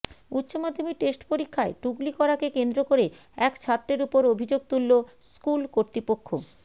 উচ্চমাধ্যমিক টেস্ট পরীক্ষায় টুকলি করা কে কেন্দ্র করে এক ছাত্রের উপর অভিযোগ তুললো স্কুল কর্তীপক্ষ